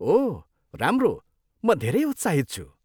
ओह राम्रो, म धेरै उत्साहित छु।